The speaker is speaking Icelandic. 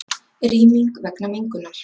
Rýming vegna mengunar